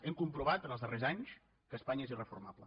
hem comprovat en els darrers anys que espanya és irreformable